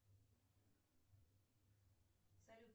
салют